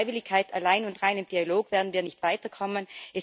Mit Freiwilligkeit allein und reinem Dialog werden wir nicht weiterkommen.